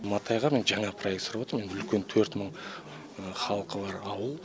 матайға мен жаңа проект сұрап отырмын үлкен төрт мың халқы бар ауыл